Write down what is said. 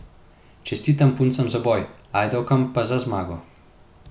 Čestitam puncam za boj, Ajdovkam pa za zmago.